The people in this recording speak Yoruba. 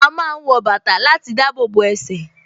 A máa ń wọ bàtà láti dábòbò ẹsẹ̀